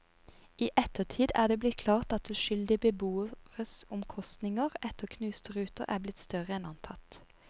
I ettertid er det blitt klart at uskyldige beboeres omkostninger etter knuste ruter er blitt større enn antatt.